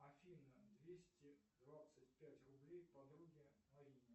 афина двести двадцать пять рублей подруге наине